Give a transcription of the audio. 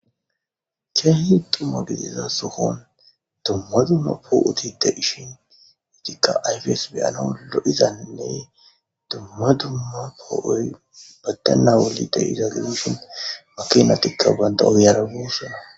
keehi dumma gidiza sohon dumma dumma poo'oti de'ishin eetikka ayfes be'anaw lo'izanne dumma dumma poo'oy baddana wuli de'iza gidishin makinatikka banta ogiyara boosona.